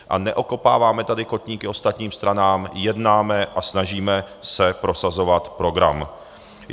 A neokopáváme tady kotníky ostatním stranám, jednáme a snažíme se prosazovat program.